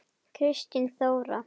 Kristín Þóra.